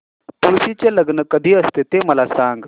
तुळशी चे लग्न कधी असते ते मला सांग